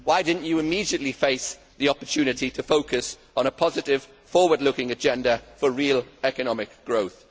Why did you not immediately face the opportunity to focus on a positive forward looking agenda for real economic growth?